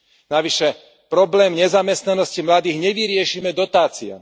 Navyše problém nezamestnanosti mladých nevyriešime dotáciami.